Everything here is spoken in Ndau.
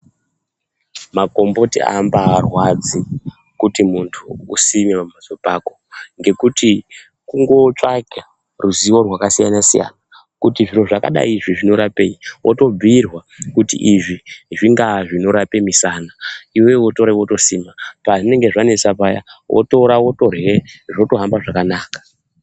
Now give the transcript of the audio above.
Magomboti aambarwadzi kuti muntu usime pambatso pako ngekuti kungootsvaga ruzivo rwakasiyana siyana kuti zviro zvakadai izvi zvinorapei wotobhuyirwa kuti izvi zvingaa zvinorapa musana iwewe wotora wotosima pazvinenge zvanesa paya wotora wotorya zvotohamba zvakanaka.